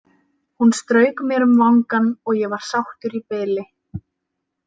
Hún strauk mér um vangann og ég var sáttur í bili.